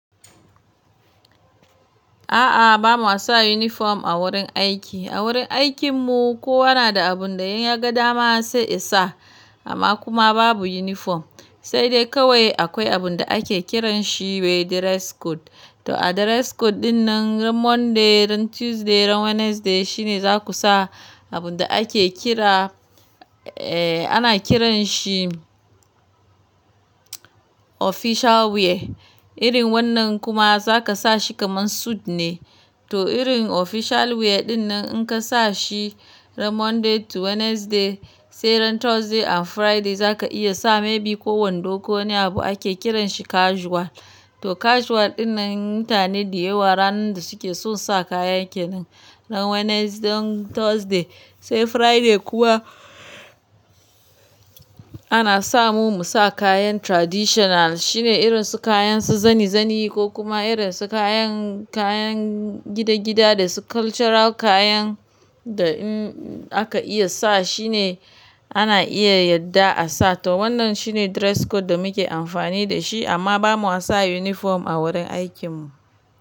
A'a, bamu sa uniform a wurin aiki. A wurin aikinmu kowa na da abun da in yaga dama sai isa. Amma kuma babu uniform. Sai dai kawai akwai abin da ake kiran shi wai dress code. To a dress code ɗin nan ran Monday, ran Tuesday, ran Wednesday shine za ku sa abin da ake kira, eh ana kiran shi official wear. Irin wannan kuma za ka sa shi kaman suite ne. To irin official wear ɗin nan in ka sa shi ran Monday to Wednesday, sai ran Thursday and Friday za ka iya sa maybe ko wando ko wani abu ake kiran shi casual. To casual ɗin nan mutane dayawa ranan da suke so sa kayan kenan. Ran Wednesday, ran Thursday sai Friday kuwa ana sa mu mu sa kayan traditional shine irin su kayan su zani zani ko kuma irin su kayan, kayan gida gida da su cultural kayan da in aka iya sa shine ana iya yadda a sa. To wannan shine dress code da muke amfani da shi amma ba mu sa uniform a wurin aikinmu.